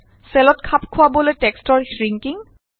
চেলত খাপ খোৱাবলৈ টেক্সটৰ শ্ৰিংকিং